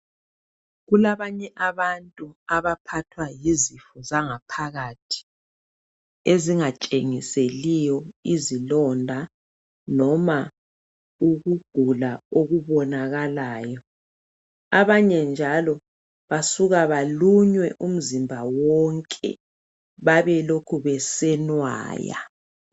Kulabanye abantu abaphathwa yizifo zangaphakathi zangaphakathi ezingatshingiseliyo izilonda noma ukugula okubonakalayo. Abanye njalo basuka balunywe umzimba wonke babelokhe besenwaya.